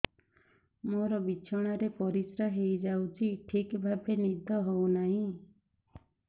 ମୋର ବିଛଣାରେ ପରିସ୍ରା ହେଇଯାଉଛି ଠିକ ଭାବେ ନିଦ ହଉ ନାହିଁ